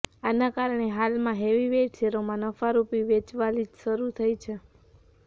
આના કારણે હાલમાં હેવી વેઈટ શેરોમાં નફારૂપી વેચવાલી શરૂ થઇ છે